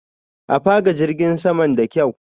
A faka jirgin saman da kyaw.